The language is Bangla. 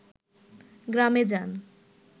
গ্রামে যান